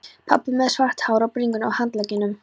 Pabbar með svart hár á bringunni og handleggjunum.